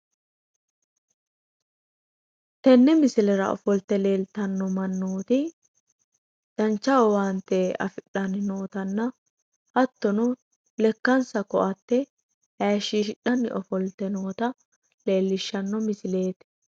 tenne misilera ofoltte leeltanno mannooti dancha owaatte afidhanni nootanna hattono lekkansa koatte hayiishshidhanni noota leellishshanno misileeti.